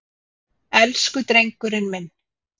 Elsku drengurinn minn.